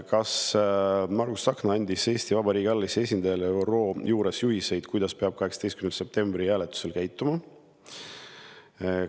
Kas Margus Tsahkna andis Eesti Vabariigi alalisele esindajale ÜRO juures juhiseid, kuidas peab 18. septembri hääletusel käituma?